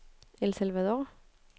El Salvador